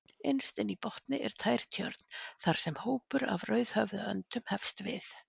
Innst inni í botni er tær tjörn þar sem hópur af rauðhöfðaöndum hefst við.